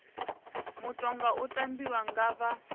mutoga u tambiwa nga vha